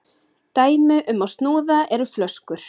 dæmi um snúða eru flöskur